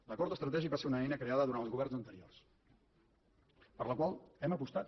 l’acord estratègic va ser una eina creada durant els governs anteriors per la qual hem apostat